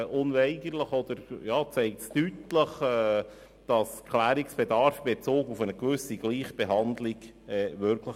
Diese Motion zeigt deutlich, dass Klärungsbedarf in Bezug auf eine gewisse Gleichbehandlung besteht.